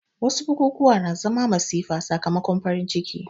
Wasu bukukuwa suna zama masifa sakamakon farin ciki